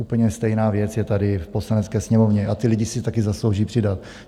Úplně stejná věc je tady v Poslanecké sněmovně a ti lidé si také zaslouží přidat.